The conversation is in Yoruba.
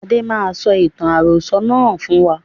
Adé máa sọ ìtàn àròsọ̀ náà fún wa